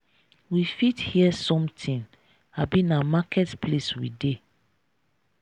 we fit hear something abi na market place we dey?